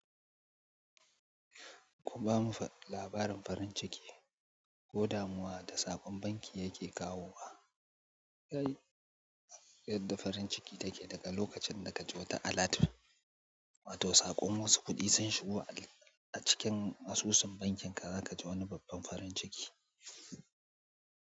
Ku ba mu labarin farin ciki, ko damuwa da saƙon banki yake kawo wa. Yadda farin ciki take daga lokacin da ka je ta alat. Wato saƙon wasu kuɗi sun shigo, a cikin asusun bankin ka za ka ji wani babban farin ciki.